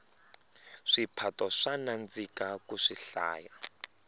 swiphato swa nandzika ku swihlaya